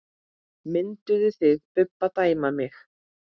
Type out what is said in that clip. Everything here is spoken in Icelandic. Mynduð þið Bubbi dæma mig?